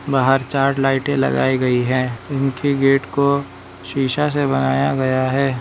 बाहर चार लाइटें लगाई गई है उनकी गेट को शीशा से बनाया गया है।